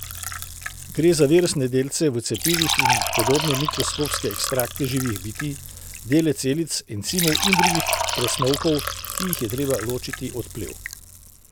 Gre za virusne delce v cepivih in podobne mikroskopske ekstrakte živih bitij, dele celic, encimov in drugih presnovkov, ki jih je treba ločiti od plev.